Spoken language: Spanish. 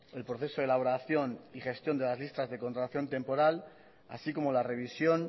el proceso de elaboración y gestión de las listas de contratación temporal así como la revisión